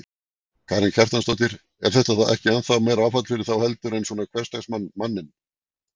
Karen Kjartansdóttir: Er þetta ekki ennþá meira áfall fyrir þá heldur en svona hversdagsmann, manninn?